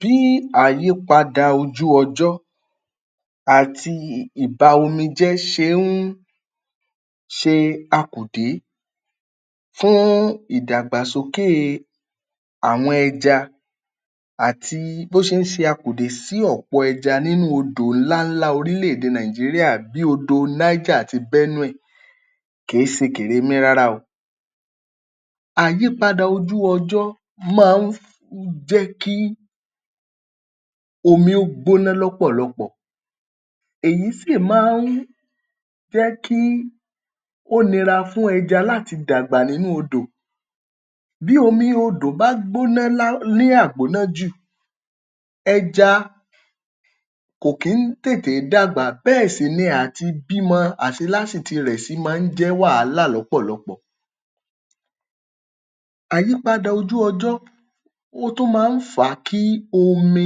Bí àyípadà ojú-ọjọ́ àti ìba-omi-jẹ́ ṣe ń ṣe akùdé fún ìdàgbàsókè àwọn ẹja àti bó ṣe ń ṣe akùdé sí ọ̀pọ̀ ẹja nínú odò ńláńlá orílẹ̀-èdè Nigeria bí odò Niger àti Benue kè é ṣe kèrémí rárá o. Àyípadà ojú-ọjọ́ máa ń jẹ́ kí omi ó gbóná lọ́pọ̀lọpọ̀, èyí sì máa ń jẹ́ kí ó nira fún ẹja láti dàgbà nínú odò. Bí omi odò bá gbóná lá ní àgbóná jù, ẹja kò kí ń tètè é dàgbà, bẹ́ẹ̀ sì ni à ti bímọ fi máa ń jẹ́ wàhálà lọ́pọ̀lọpọ̀. Àyípadà ojú-ọjọ́ ó tún máa ń fà á kí omi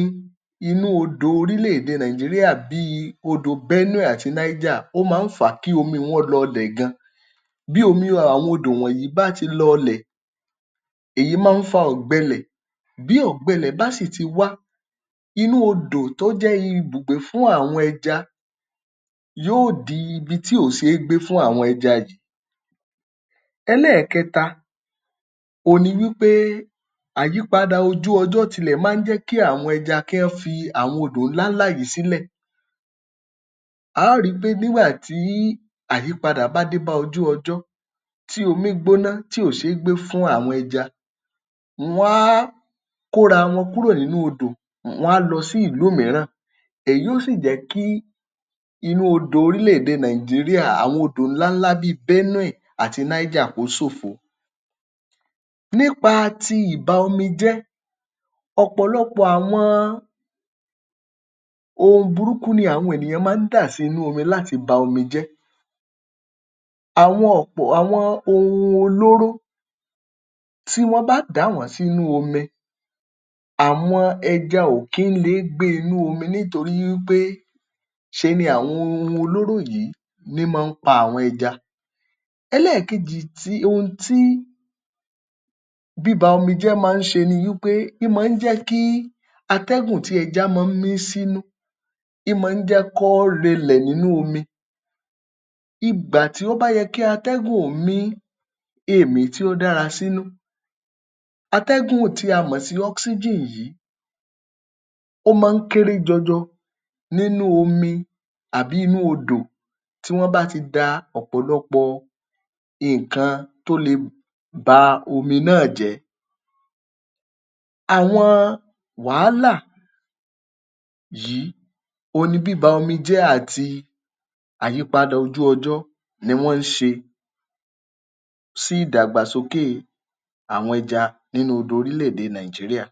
inú odò orílẹ̀-èdè Nigeria bíi odò Benue àti Niger, ó máa ń fà á kí omi wọ́n lọlẹ̀ gan-an. Bí omi àwọn odò wọ̀nyí bá ti lọlẹ̀, èyí máa ń fa ọ̀gbẹlẹ̀. Bí ọ̀gbẹlẹ̀ bá sì ti wá, inú odò tó jẹ́ ibùgbé fún àwọn ẹja, yóò di ibi tí ò ṣe é gbé fún àwọn ẹja yìí. Ẹlẹ́ẹ̀kẹta òhun ni wí pé àyípadà ojú-ọjọ́ tilẹ̀ máa ń jẹ́ kí àwọn ẹja kí wọ́n fi àwọn odò ńláńlá yìí sílẹ̀. A á ri pé nígbà tí àyípadà bá dé bá ojú-ọjọ́, tí omi gbóná, tí ò ṣe é gbé fún àwọn ẹja, wọ́n á kóra wọn kúrò nínú odò, wọ́n á lọ sí ìlú mìíràn. Èyí ó sì jẹ́ kí inú odò orílẹ̀-èdè Nigeria, àwọn odò ńláńlá bíi Benue àti Niger ó sófo. Nípa ti ìba-omi-jẹ́, ọ̀pọ̀lọpọ̀ àwọn ohun burúkú ni àwọn ènìyàn máa ń dá sínú omi láti ba omi jẹ́. Àwọn ọ̀pọ̀ àwọn ohun olóró, tí wọ́n bá dà wọ́n sínú omi àwọn ẹja ò kí ń leé gbé inú omi nítorí wí pé ṣe ni àwọn ohun olóró yìí ní ń máa pa àwọn ẹja. Ẹlẹ́ẹ̀kejì tí ohun tí bíba omi jẹ́ máa ń ṣe ni wí pé, ín máa ń jẹ́ kí atẹ́gùn tí ẹja máa ń mí sínú ín máa ń jẹ́ kọ́ relẹ̀ nínú omi. Ìgbà tó bá yẹ kí atẹ́gùn ó mí èmí tí ó dára sínú, atẹ́gùn tí a mọ̀ sí oxygen yìí ó máa ń kéré jọjọ nínú omi àbí nínú odò tí wọ́n bá ti da ọ̀pọ̀lọpọ̀ nǹkan tó le ba omi náà jẹ́. Àwọn wàhálà yìí ohun ni bíba omi jẹ́ àti àyípadà ojú-ọjọ́ ni wọ́n ń ṣe sí ìdàgbàsókè àwọn ẹja nínú odò orílẹ̀-èdè Nigeria.